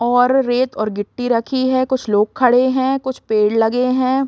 और रेत और गिट्टी रखी है कुछ लोग खड़े है कुछ पेड़ लगे है।